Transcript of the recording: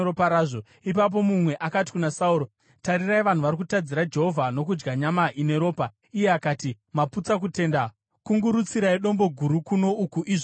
Ipapo mumwe akati kuna Sauro, “Tarirai vanhu vari kutadzira Jehovha nokudya nyama ine ropa.” Iye akati, “Maputsa kutenda. Kungurutsirai dombo guru kuno uku izvozvi.”